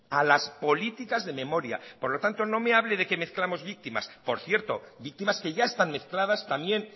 a las políticas de memoria por lo tanto no me hable de que mezclamos víctimas por cierto víctimas que ya están mezcladas también